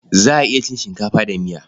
Za a iya cin shinkafa da miya.